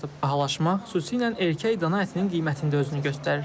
Bahalaşma xüsusilə erkək dana ətinin qiymətində özünü göstərir.